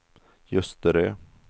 Ljusterö